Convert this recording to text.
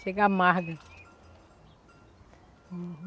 Chega amarga. Uhum.